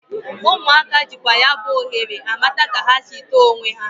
Ụmụaka jịkwa ya bụ ohere amata ka ha sị tọọ onwe ha.